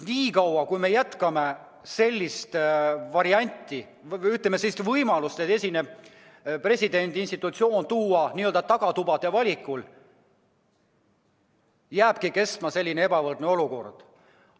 Niikaua, kui püsib selline võimalus, et presidendi ametikoht täidetakse n-ö tagatubade valikul, jääbki kestma selline ebavõrdne olukord.